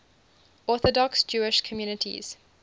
orthodox jewish communities